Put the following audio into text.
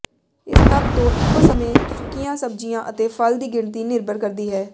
ਇਸ ਤੱਤ ਤੋਂ ਇੱਕੋ ਸਮੇਂ ਸੁੱਕੀਆਂ ਸਬਜ਼ੀਆਂ ਅਤੇ ਫਲ ਦੀ ਗਿਣਤੀ ਨਿਰਭਰ ਕਰਦੀ ਹੈ